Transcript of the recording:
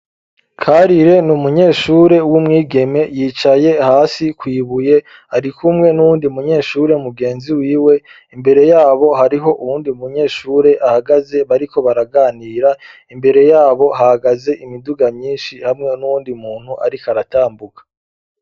Karire n'umunyeshure w'umwigeme yicaye hasi kuibuye ariko umwe n'uwundi munyeshure mugenzi wiwe imbere yabo hariho uwundi munyeshure ahagaze bariko baraganira imbere yabo hagaze imiduga myinshi hamwe n'undi muntu ariko aratambuka.